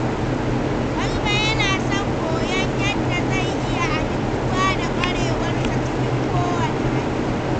Garba yana son koyon yadda zai iya amintuwa da ƙwarewarsa cikin kowane hali.